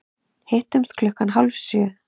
Hittumst klukkan hálf sjö.